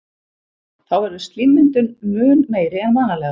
Þá verður slímmyndun mun meiri en vanalega.